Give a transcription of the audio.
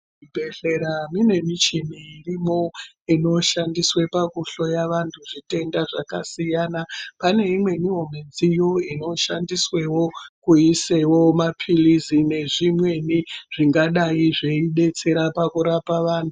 Muzvibhehleya mune michini irimwo inoshandiswa pakuhloya vantu zvitenda zvakasiyana. Pane imwewo midziyo inoshandiswe kuisa mapilizi nezvimweni zvingadai zvedetsera pakurapa vantu.